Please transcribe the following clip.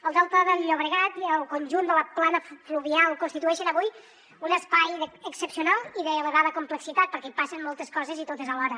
el delta del llobregat i el conjunt de la plana fluvial constitueixen avui un espai excepcional i d’elevada complexitat perquè hi passen moltes coses i totes alhora